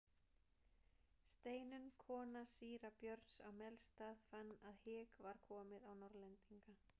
Steinunn kona síra Björns á Melstað fann að hik var komið á Norðlendinga.